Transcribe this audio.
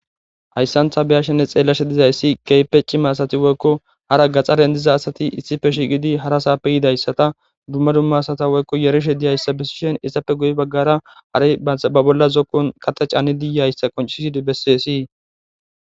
Hayssantha beyashenne xeellashe dizayssi keypeci maasati woykko hara gaxxaren diza asati issife shigidi hara saappe yidayssata dumma dumma sata woykko yarishe diyayssa bessishen issappe guyi baggara hari ba bolla zokqon qate caanidiyayssa qoncisidi bessessii.